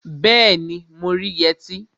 Bẹẹni, mo rí yẹtí